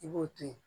I b'o to yen